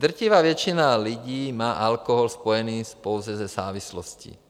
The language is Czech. Drtivá většina lidí má alkohol spojený pouze se závislostí.